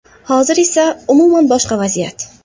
Hozir esa umuman boshqa vaziyat.